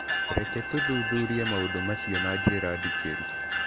Reke tũthuthurie maũndũ macio na njĩra ndikĩru.